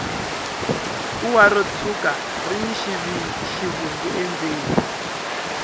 kuwa ro tshwuka rini xivungu endzeni